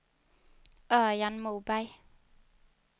Örjan Moberg